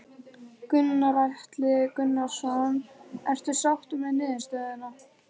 Gunnar Atli Gunnarsson: Ertu sáttur með niðurstöðuna?